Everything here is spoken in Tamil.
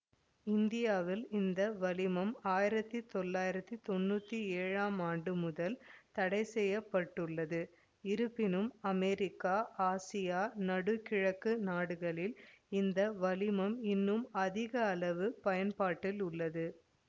இந்தியாவில் இந்த வளிமம் ஆயிரத்தி தொள்ளாயிரத்தி தொன்னூற்தி ஏழாம் ஆண்டு முதல் தடைசெய்யப்பட்டுள்ளது இருப்பினும் அமெரிக்கா ஆசியா நடு கிழக்கு நாடுகளில் இந்த வளிமம் இன்னும் அதிக அளவு பயன்பாட்டில் உள்ளது